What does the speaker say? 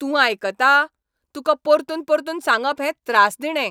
तूं आयकता ? तुकां परतून परतून सांगप हें त्रासदिणें.